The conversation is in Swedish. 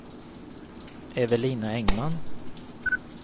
Evelina Engman